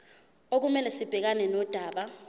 okumele sibhekane nodaba